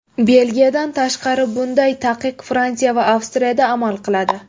Belgiyadan tashqari, bunday taqiq Fransiya va Avstriyada amal qiladi.